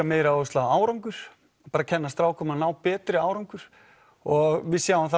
meiri áherslu á árangur bara að kenna strákum að ná betri árangri og við sjáum það